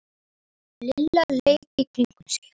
Lilla leit í kringum sig.